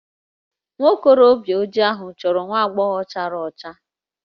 Nwa okorobịa ojii ahụ chọrọ nwa agbọghọ chara ọcha